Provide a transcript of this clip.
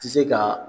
Tɛ se ka